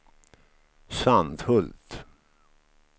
Sandhult